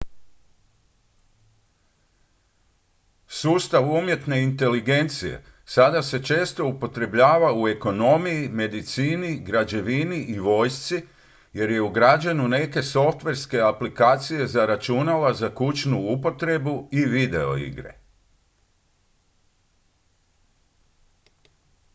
sustav umjetne inteligencije sada se često upotrebljava u ekonomiji medicini građevini i vojsci jer je ugrađen u neke softverske aplikacije za računala za kućnu upotrebu i videoigre